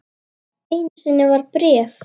Einu sinni var bréf.